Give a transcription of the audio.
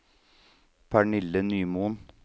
Pernille Nymoen